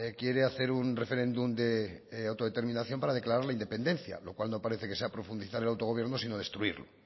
quiere hacer un referéndum de autodeterminación para declarar la independencia lo cual no parece que sea profundizar el autogobierno sino destruirlo